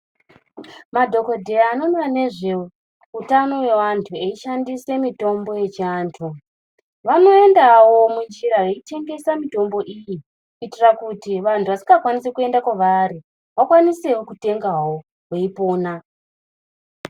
Madhokodheya anoona nezveutano hwevantu eishandise mitombo yechiandu vanoendao munjira veitengesa mitombo iyi kuitira kuti vantu vasingakwanisi kuenda kwavari vakwaniseo kutengao veipona.